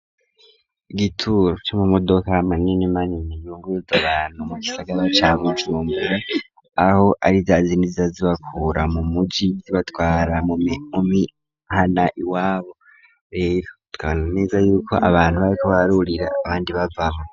Igituro co mu modoka manini manini ,yunguruza bantu, mu kisagaba ca bujumbura, aho ari zazindi zibakura mu muji zibatwara mu mihana iwabo ,E tukabona neza yuko abantu bariko barurira abandi bavamwo.